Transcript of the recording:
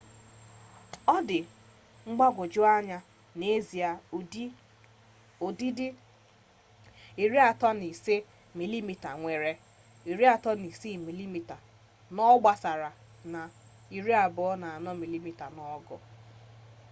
ọ dịtụ mgbagwoju anya na n'ezie ụdịdị 35mm nwere 36mm n'obosara na 24mm n'ogo